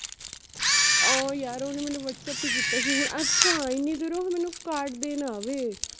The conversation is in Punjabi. ਉਹ ਯਰ ਓਹਨੇ ਮੇਨੂ whatsapp ਈ ਕੀਤਾ ਸੀ ਹੁਣ ਅੱਛਾ ਏਨੀ ਦੂਰੋਂ ਹੁਣ ਮੇਨੂ ਕਾਡ ਦੇਣ ਆਵੇ